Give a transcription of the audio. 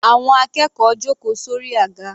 Àwọn akẹ́kọ̀ọ́ jòkó sórí àga.